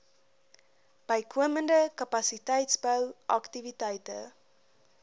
bykomende kapasiteitsbou aktiwiteite